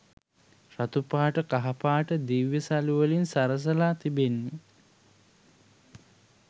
රතු පාට කහපාට දිව්‍ය සළුවලින් සරසලා තිබෙන්නේ.